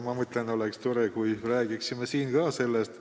Ma mõtlen, et oleks tore, kui me räägiksime siin ka sellest.